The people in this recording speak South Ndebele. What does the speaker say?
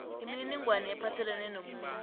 imininingwana ephathelene nomuntu